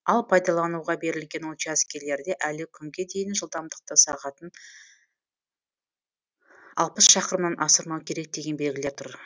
ал пайдалануға берілген учаскелерде әлі күнге дейін жылдамдықты сағатын алпыс шақырымнан асырмау керек деген белгілер тұр